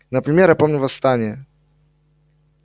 например я помню восстание